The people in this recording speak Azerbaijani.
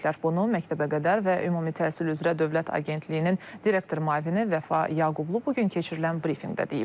Bunu məktəbəqədər və ümumi təhsil üzrə Dövlət Agentliyinin direktor müavini Vəfa Yaqublu bu gün keçirilən brifinqdə deyib.